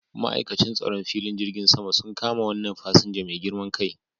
Ma'aikacin tsaron filin jirgin sama un kama wannan fasinja mai girman kai